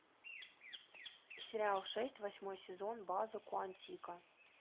сериал шесть восьмой сезон база куантико